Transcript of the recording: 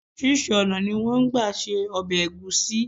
Orísírìsí ònà ni wón n gba se obè ègúsí